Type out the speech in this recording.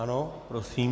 Ano, prosím.